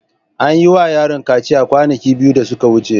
An yi wa yaron kaciya kwanaki biyu da suka wuce.